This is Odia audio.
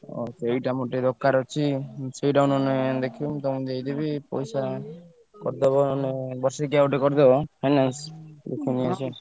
ଆଉ ସେଇଟା ମୋର ଟିକେ ଦରକାର ଅଛି। ସେଇଟାକୁ ନହେଲେ ଦେଖିବ ମୁଁ ତମୁକୁ ଦେଇଦେବି ପଇସା କରିଦବ ନହେଲେ ବର୍ଷିକୀୟା ଗୋଟେ କରିଦବ finance ଦେଖି ନେଇଆସିଆ।